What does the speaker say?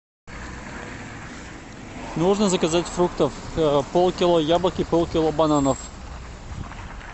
нужно заказать фруктов полкило яблок и полкило бананов